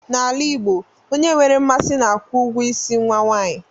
N'ala Igbo, onye nwere mmasị na-akwụ ụgwọ ịsị nwa nwanyị